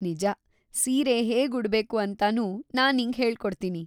ನಿಜ, ಸೀರೆ ಹೇಗ್ ಉಡ್ಬೇಕು ಅಂತಾನೂ ನಾನ್ ನಿಂಗೆ ಹೇಳ್ಕೊಡ್ತೀನಿ.